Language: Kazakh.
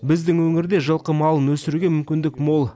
біздің өңірде жылқы малын өсіруге мүмкіндік мол